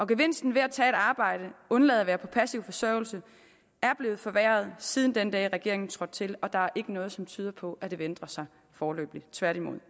gevinsten ved at tage et arbejde og undlade at være på passiv forsørgelse er blevet forværret siden den dag regeringen trådte til og der er ikke noget som tyder på at det vil ændre sig foreløbig tværtimod